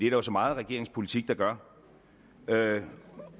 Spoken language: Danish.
jo så meget af regeringens politik der gør